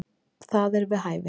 Það er við hæfi.